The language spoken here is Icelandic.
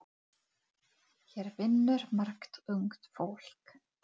Hann ætlar að kaupa allar jólagjafirnar.